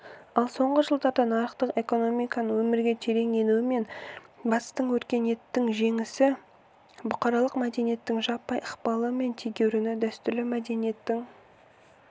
ал соңғы жылдарда нарықтық экономиканың өмірге терең енуі мен батыстық өркениеттің жемісі бұқаралық мәдениеттің жаппай ықпалы мен тегеуріні дәстүрлі мәдениеттің